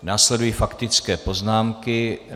Následují faktické poznámky.